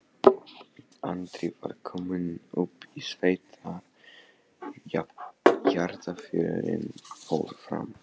Andri var kominn upp í sveit þegar jarðarförin fór fram.